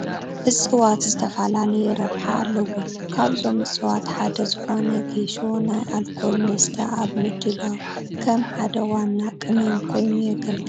እፅዋት ዝተፈላለየ ረብሓ ኣለዎም፡፡ ካብዞም እፅዋት ሓደ ዝኾነ ጌሾ ናይ ኣልኮል መስተ ኣብ ምድላው ከም ሓደ ዋና ቅመም ኮይኑ የገልግል፡፡